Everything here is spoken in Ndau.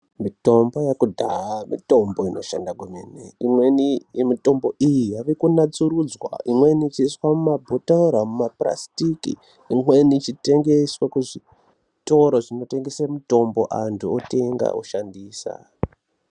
Mitombo yekudhaya, mitombo inoshanda kwemene. Imweni yemitombo iyi yave kunatsurudzwa, imweni ichiiswa mumabhothoro, mumaphurasitiki imweni ichitengeswa kuzvitoro zvinotengese mitombo, antu otenga oshandisa.